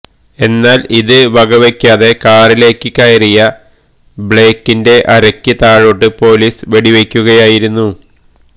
എന്നാല് ഇത് വകവെക്കാതെ കാറിലേക്ക് കയറിയ ബ്ലേക്കിന്റെ അരയ്ക്ക് താഴോട്ടേക്ക് പൊലീസ് വെടിയുതിര്ക്കുകയായിരുന്നു